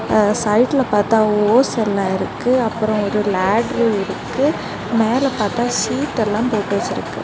அ சைடுல பாத்தா ஹோஸ் ஒன்னு இருக்கு அப்புறம் ஒரு லடர் இருக்கு மேல பாத்தா சீட் எல்லாம் போட்டு வச்சிருக்கு.